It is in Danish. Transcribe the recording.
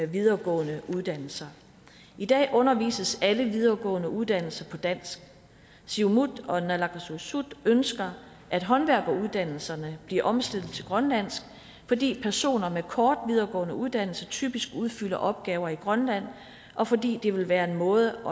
videregående uddannelser i dag undervises der på alle videregående uddannelser på dansk siumut og naalakkersuisut ønsker at håndværkeruddannelserne bliver omstillet til grønlandsk fordi personer med kort videregående uddannelse typisk udfylder opgaver i grønland og fordi det vil være en måde